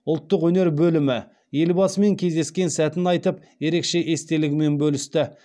ұлттық өнер бөлімі елбасымен кездескен сәтін айтып ерекше естелігімен бөлісті